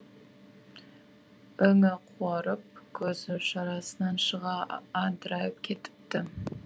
өңі қуарып көзі шарасынан шыға адырайып кетіпті